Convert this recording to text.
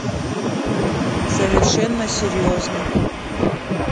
совершенно серьезно